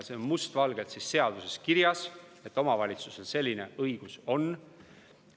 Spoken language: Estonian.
See on must valgel seaduses kirjas, et omavalitsusel selline õigus on.